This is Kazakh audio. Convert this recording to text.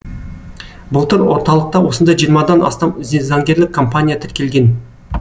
былтыр орталықта осындай жиырмадан астам заңгерлік компания тіркелген